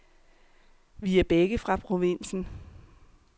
Vi er begge fra provinsen.